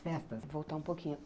Voltar um pouquinho.